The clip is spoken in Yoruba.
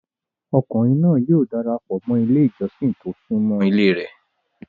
Ọkùnrìn náà yóò darapọ mọ́ ilẹ̀ ìjọ̀ṣìn tí o sùnmọ́ ilẹ̀ rẹ̀.